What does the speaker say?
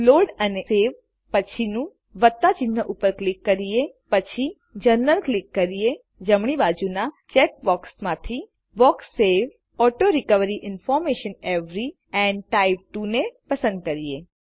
loadસવે પછીનું ચિહ્ન ઉપર ક્લિક કરીએ પછી જનરલ ક્લિક કરીએgtgt જમણી બાજુના ચેક બોક્સીસ માંથીgtgt box save auto recovery information every and type 2ને પસંદ કરીએ